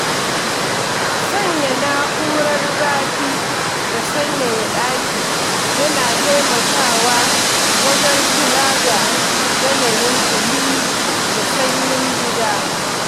Sanya na'urar zafi da sanyaya ɗaki yana taimakawa wajen kula da yanayin ɗumi da sanyin gida.